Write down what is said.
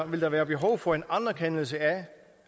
vil der være behov for en anerkendelse af